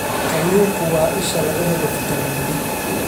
Kalluunku waa isha laga helo fitamiin D.